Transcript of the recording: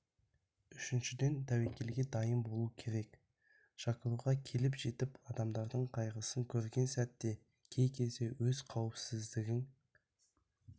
үшіншіден тәуекелге дайын болу керек шақыруға келіп жетіп адамдардың қайғысын көрген сәтте кей кезде өз қауіпісіздігің